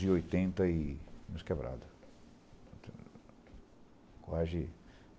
de oitenta e uns quebrados. Quase